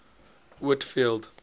whitfield